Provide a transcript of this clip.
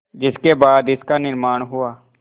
जिसके बाद इसका निर्माण हुआ